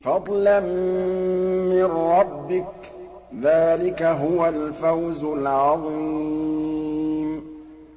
فَضْلًا مِّن رَّبِّكَ ۚ ذَٰلِكَ هُوَ الْفَوْزُ الْعَظِيمُ